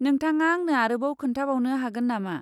नोंथाङा आंनो आरोबाव खोन्थाबावनो हागोन नामा?